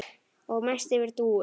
Og mest yfir Dúu.